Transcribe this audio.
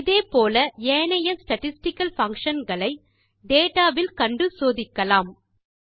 இதே போல ஏனைய ஸ்டாட்டிஸ்டிக்கல் பங்ஷன்ஸ் ஐ டேட்டா வில் கண்டு சோதிக்கலாம்